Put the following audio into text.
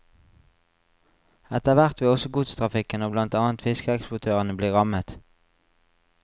Etterhvert vil også godstrafikken og blant annet fiskeeksportørene bli rammet.